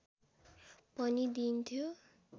पनि दिइन्थ्यो